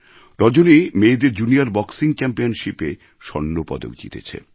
রজনী মেয়েদের junior boxing চ্যাম্পিয়নশিপএ স্বর্ণ পদক জিতেছে